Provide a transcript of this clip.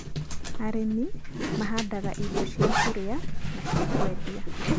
arĩmi mahandaga irio cia kũria na cia kwendia.